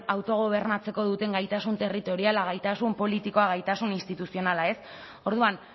autogobernatzeko duten gaitasun territoriala gaitasun politikoa gaitasun instituzionala orduan